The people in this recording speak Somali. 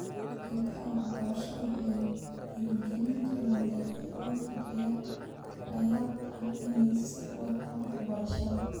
Deeqaha waxbarasho waxay dhiirigelin karaan dhalinyarada danyarta ah inay sii wataan waxbarashada.